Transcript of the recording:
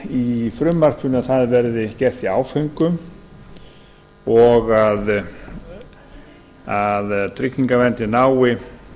í frumvarpinu að það verði gert í áföngum og að tryggingaverndin nái